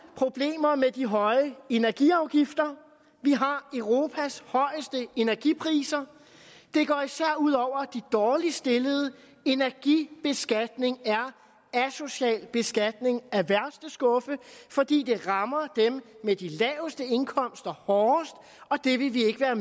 problemer med de høje energiafgifter vi har europas højeste energipriser det går især ud over de dårligt stillede energibeskatning er asocial beskatning af værste skuffe fordi det rammer dem med de laveste indkomster hårdest og det vil vi ikke være